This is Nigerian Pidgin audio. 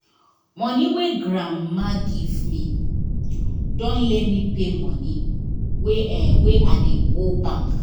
money wey grandma give me don let me pay money wey wey i dey owe bank